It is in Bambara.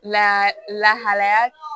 Lahala lahalaya